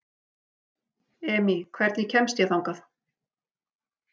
Emý, hvernig kemst ég þangað?